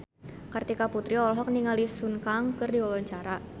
Kartika Putri olohok ningali Sun Kang keur diwawancara